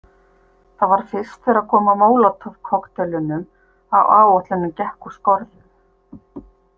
Það var fyrst þegar kom að Molotov- kokkteilunum að áætlunin gekk úr skorðum.